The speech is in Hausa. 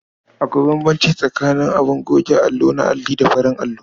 Akwai bambanci tsakaning abin goge allo na alli da farin allo.